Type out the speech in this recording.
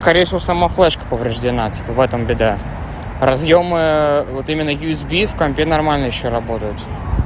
скорее всего сама флешка повреждена типа в этом беда разъёмы вот именно юсби в компе нормально ещё работают